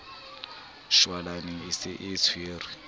shwalane e se e tshwere